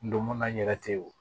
Ndomola n yɛrɛ te ye o